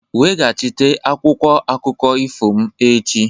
Weghachite akwụkwọ akụkọ ifo m echi!